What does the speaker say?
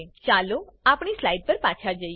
ચાલો આપણી સ્લાઇડ પર પાછા જઈએ